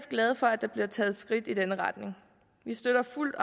glade for at der bliver taget skridt i denne retning vi støtter fuldt